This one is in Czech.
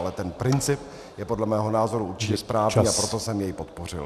Ale ten princip je podle mého názoru určitě správný , a proto jsem jej podpořil.